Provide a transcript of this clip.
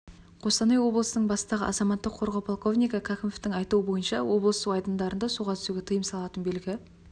қостанай облысының бастығы азаматтық қорғау полковнигі кәкімовтың айтуынша облыс су айдындарында суға түсуге тыйым салатын белгі